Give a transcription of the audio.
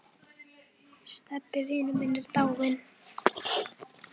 Stebbi vinur minn er dáinn.